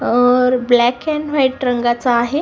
और black and white रंगाच आहे.